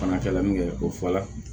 Fana kɛla min kɛ ko fɔ la